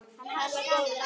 Hann var góður afi.